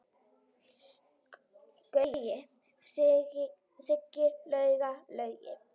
Gaui, Siggi, Lauga, Laugi.